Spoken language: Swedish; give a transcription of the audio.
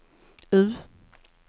U